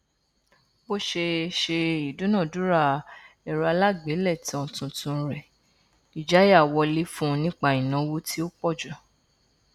bó ṣe ṣe ìdúnadúrà ẹrọ alágbèélétan tuntun rẹ ìjáyà wọlé fún nípa ìnáwó tí ó pọjù